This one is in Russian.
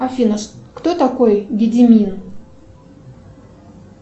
афина кто такой гедимин